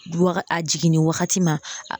Wa a jiginni wagati ma